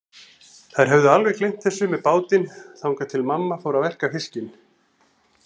Þær höfðu alveg gleymt þessu með bátinn, þangað til mamma fór að verka fiskinn.